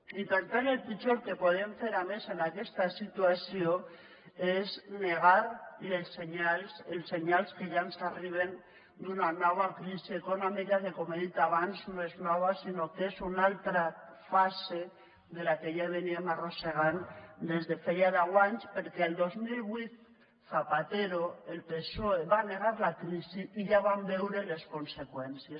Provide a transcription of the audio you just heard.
i per tant el pitjor que podem fer a més en aquesta situació és negar els senyals que ja ens arriben d’una nova crisi econòmica que com he dit abans no és nova sinó que és una altra fase de la que ja arrossegàvem des de feia deu anys perquè el dos mil vuit zapatero el psoe va negar la crisi i ja en vam veure les conseqüències